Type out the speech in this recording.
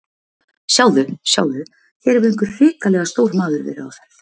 Sjáðu, sjáðu, hér hefur einhver hrikalega stór maður verið á ferð.